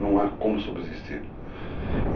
Não é como subsistir.